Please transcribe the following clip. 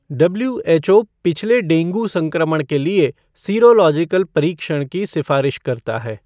W H O पिछले dengue संक्रमण के लिए सीरोलॉजिकल परीक्षण की सिफारिश करता है